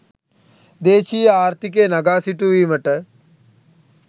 දේශීය ආර්ථිකය නගා සිටුවීමට